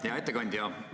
Hea ettekandja!